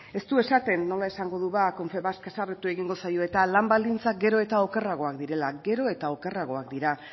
ez du esaten nola esango du ba confebask haserretu egingo zaio eta lan baldintzak gero eta okerragoak direla gero eta okerragoak dira